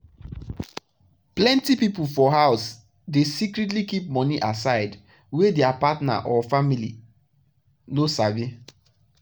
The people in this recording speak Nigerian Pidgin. plenty people for house dey secretly keep money aside wey their partner or family no sabi.